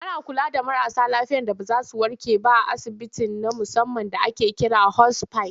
Ana kula da marasa lafiya da ba za zu warke ba a asibiti na musamman da ake kira da 'hospice'.